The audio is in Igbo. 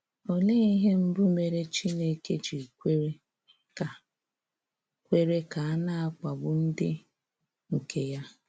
Olee ihe mbụ mere Chineke ji kwere ka a kwere ka a na-akpagbu ndị nke ya?